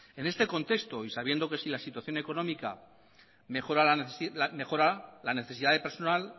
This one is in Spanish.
en este contexto y sabiendo que si la situación económica mejora la necesidad de personal